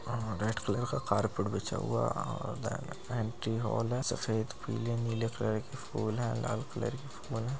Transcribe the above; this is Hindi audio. हा रेड कलर का कारपेट बिछा हुआ है आ देन हॉल है। सफेद पीले नीले कलर की फूल हैं लाल कलर की फूल हैं।